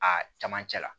A camancɛ la